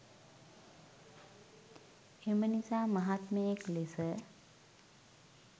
එම නිසා මහත්මයෙක් ලෙස